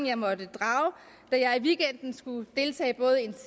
jeg måtte drage da jeg i weekenden skulle deltage både